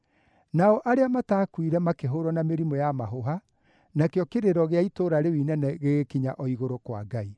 Nao arĩa mataakuire makĩhũũrwo na mĩrimũ ya mahũha, nakĩo kĩrĩro gĩa itũũra rĩu inene gĩgĩkinya o igũrũ kwa Ngai.